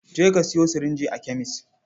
Je ka sayo sirinji a kemes.